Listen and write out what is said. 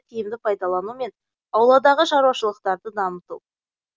тиімді пайдалану мен ауладағы шаруашылықтарды дамыту